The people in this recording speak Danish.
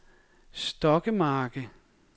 Stokkemarke